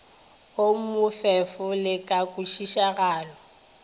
wo bofefo le ka kwešišagalo